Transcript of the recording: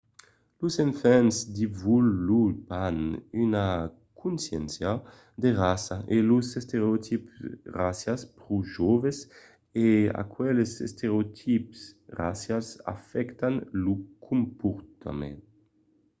los enfants desvolopan una consciéncia de raça e los estereotips racials pro joves e aqueles estereotips racials afèctan lo comportament